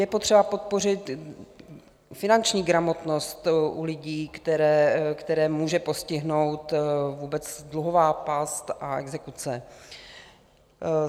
Je potřeba podpořit finanční gramotnost u lidí, které může postihnout vůbec dluhová past a exekuce.